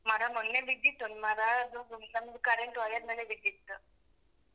ಮರ ಮೊನ್ನೆ ಬಿದಿತ್ತು ಒಂದ್ ಮರ ಅದೊಂದು ನಮ್ದು current wire ಮೇಲೆ ಬಿದ್ದುತ್ತು.